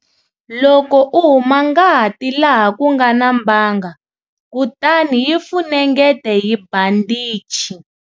Loko u huma ngati laha ku nga na mbanga kutani yi funengete hi bandichi.